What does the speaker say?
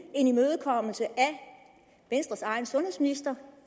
en imødekommelse af venstres egen sundhedsminister